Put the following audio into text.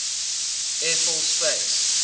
air force space